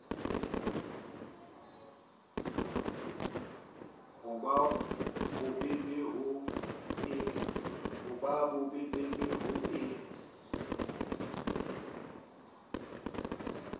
ho ba bobebe ho e